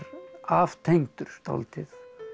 aftengdur dálítið